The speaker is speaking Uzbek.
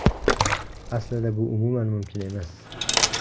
Aslida bu umuman mumkin emas.